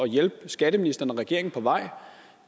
hjælpe skatteministeren og regeringen på vej